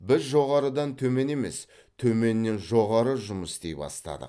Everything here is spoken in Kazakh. біз жоғарыдан төмен емес төменнен жоғары жұмыс істей бастадық